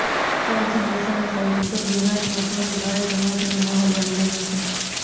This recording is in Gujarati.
સાંજે મહેસાણા સહિત ઉત્તર ગુજરાતમાં ભર ઉનાળે ચોમાસાનો માહોલ બની ગયો છે